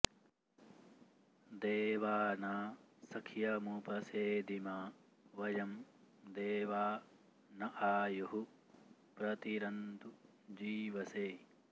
दे॒वानां॑ स॒ख्यमुप॑ सेदिमा व॒यं दे॒वा न॒ आयुः॒ प्र ति॑रन्तु जी॒वसे॑